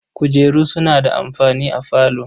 Kujeru suna da amfani a falo.